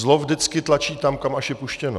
Zlo vždycky tlačí tam, kam až je puštěno.